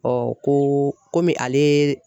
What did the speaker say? ko komi ale